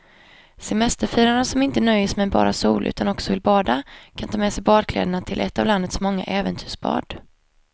Semesterfiraren som inte nöjer sig med bara sol utan också vill bada kan ta med sig badkläderna till ett av landets många äventyrsbad.